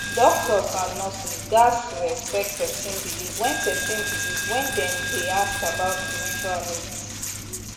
doctors and nurses gats respect person belief when person belief when dem dey ask about spiritual needs